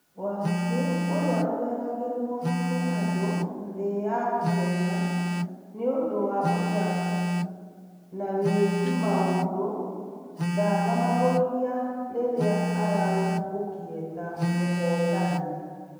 wanjiru ũria ũgegagĩrwa ni andũ thĩ ya ihenya nĩ ũndũ wa ũthaka na wĩki maũndũ ndanamagũithia rĩrĩa araũmbũkire ta muhotani